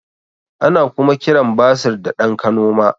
Ana kuma kiran basir da ɗan kanoma